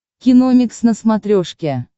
киномикс на смотрешке